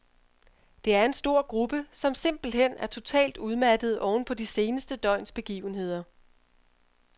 Der er en stor gruppe, som simpelthen er totalt udmattede ovenpå de seneste døgns begivenheder.